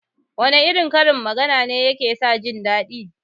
Wana irin karin magana ne yake sa jindaɗi?